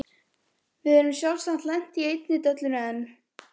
Við erum sjálfsagt lent í einni dellunni enn.